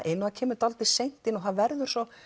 inn og það kemur dálítið seint inn og það verður svo